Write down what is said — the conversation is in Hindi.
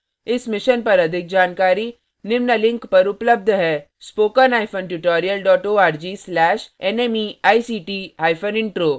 इस mission पर अधिक जानकारी निम्न लिंक पर उपलब्ध है